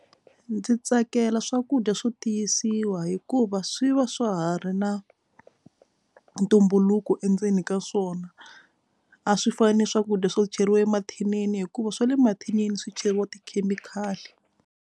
Ndzi tsakela swakudya swo tiyisiwa hikuva swi va swa ha ri na ntumbuluko endzeni ka swona a swi fani ni swakudya swo cheriwa emathinini hikuva swa le mathinini swi cheriwa tikhemikhali.